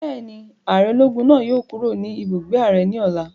Bẹ́ẹ̀ni, ààrẹ ológun náà yóò kúrò ní ibùgbé ààrẹ ní ọ̀la